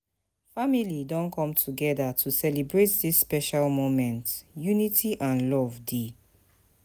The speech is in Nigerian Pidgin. Family don come together to celebrate dis special moment, unity and love dey.